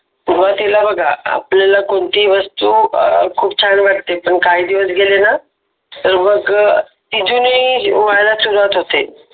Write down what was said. सुरुवातीला बघा आपल्याला कोणतीही वस्तू खूप छान वाटते पण काही दिवस गेले ना तर मग ती जुनी व्हायला सुरुवात होते